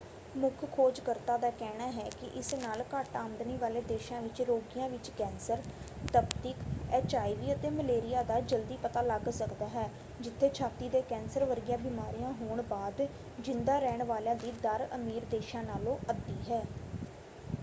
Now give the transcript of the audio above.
ਮੁੱਖ ਖੋਜ ਕਰਤਾ ਦਾ ਕਹਿਣਾ ਹੈ ਕਿ ਇਸ ਨਾਲ ਘੱਟ ਆਮਦਨੀ ਵਾਲੇ ਦੇਸ਼ਾਂ ਵਿੱਚ ਰੋਗੀਆਂ ਵਿੱਚ ਕੈਂਸਰ ਤਪਦਿਕ ਐਚਆਈਵੀ ਅਤੇ ਮਲੇਰੀਆ ਦਾ ਜਲਦੀ ਪਤਾ ਲਗ ਸਕਦਾ ਹੈ ਜਿੱਥੇ ਛਾਤੀ ਦੇ ਕੈਂਸਰ ਵਰਗੀਆਂ ਬਿਮਾਰੀਆਂ ਹੋਣ ਬਾਅਦ ਜਿੰਦਾ ਰਹਿਣ ਵਾਲਿਆ ਦੀ ਦਰ ਅਮੀਰ ਦੇਸ਼ਾਂ ਨਾਲੋਂ ਅੱਧੀ ਹੈ।